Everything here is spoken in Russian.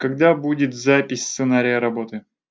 когда будет запись сценария работы